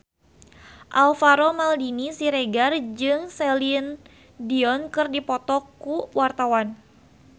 Alvaro Maldini Siregar jeung Celine Dion keur dipoto ku wartawan